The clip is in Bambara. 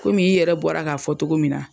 Kɔmi i yɛrɛ bɔra k'a fɔ togo min na.